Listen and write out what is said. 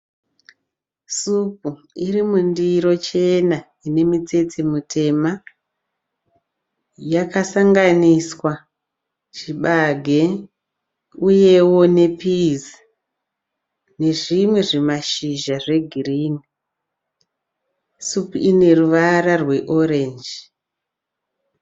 Supu iri mundiro chena ine mitsete mutema. Yakasanganiswa chibage uyewo nepizi nezvimwe zvimashizha zvegirini. Supu ine ruvara rweorenji.